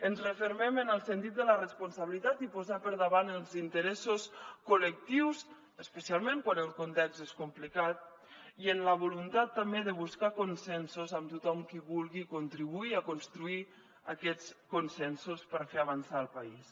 ens refermem en el sentit de la responsabilitat i posar per davant els interessos col·lectius especialment quan el context és complicat i amb la voluntat també de buscar consensos amb tothom qui vulgui contribuir a construir aquests consensos per fer avançar el país